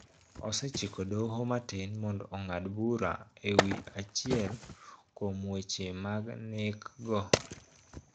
Osechiko doho matin mondo ong'ad bura e wi achiel kuom weche mag nek go